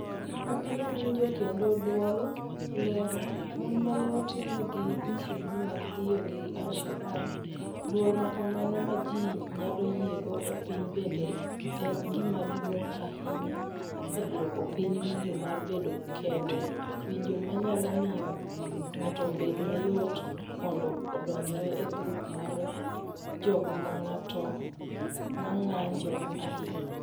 Ok inyal winjo kendo dwol mar dwol Lero, Mon ma ne otimnegi misumbni mag ndhiyo gi al-Shabab "Dwol ma kamano ma ji nyalo yiego e piny bende en gima duong’ ahinya e duoko piny winjo mar bedo kende, winjo ma nyalo miyo ng’ato obed mayot mondo odonjre e grup mag jok ma ng’anjo ahinya. "